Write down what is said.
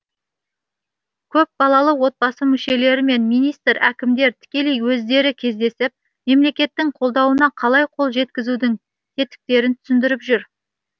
көпбалалы отбасы мүшелерімен министр әкімдер тікелей өздері кездесіп мемлекеттің қолдауына қалай қол жеткізудің тетіктерін түсіндіріп жүр